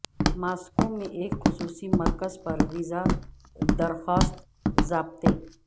Moscow میں ایک خصوصی مرکز پر ویزا درخواست ضابطے